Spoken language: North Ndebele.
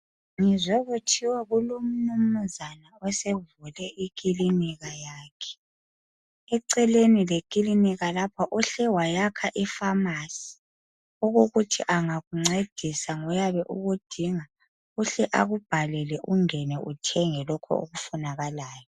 Ngizwe kuthiwa kulomnumzana osevule ikilinika yakhe . Eceleni lekilinika lapha uhle wayakha iFamasi okokuthi engakuncedise ngoyabe ukudinga uhle akubhalele ungene uthenge lokhu okufunakalayo.